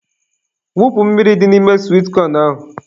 Wụpụ mmiri dị n'ime swit kọn ahụ.